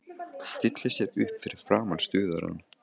Stillir sér upp fyrir framan stuðarann.